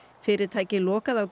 fyrirtækið lokaði á